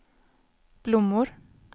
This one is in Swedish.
blommor